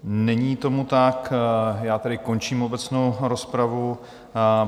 Není tomu tak, já tedy končím obecnou rozpravu.